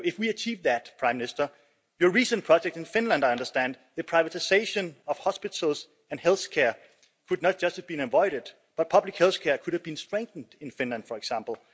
If we achieved that, Prime Minister, your recent project in Finland, as I understand, the privatisation of hospitals and health care could not just had been avoided, but public health care could have been strengthened in Finland, for example.